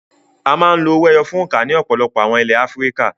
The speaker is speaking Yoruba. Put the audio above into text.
A máa ń lo owó ẹyọ fún òǹkà ní ọ̀pọ̀lọpọ̀ àwọn ilẹ̀ Áfíríkà.